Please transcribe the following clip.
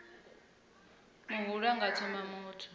muhulu a nga thola muthu